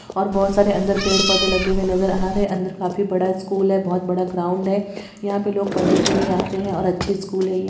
और बहुत सारे अंदर पेड़-पौधे लगे हुए नजर आ रहे हैं| अंदर काफी बड़ा स्कूल है बहुत बड़ा ग्राउंड है| यहां पे लोग पढ़ने के लिए आते हैं और अच्छी स्कूल है ये।